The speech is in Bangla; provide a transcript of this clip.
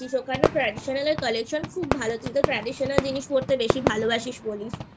ওখানে Traditional এর Collection খুব ভালো তুই তো Traditional জিনিসপত্র পড়তে বেশি ভালোবাসিস বলিসI